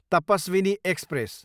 Tapaswini express